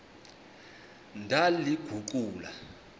ndaliguqula